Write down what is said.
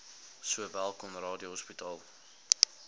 sowel conradie hospitaal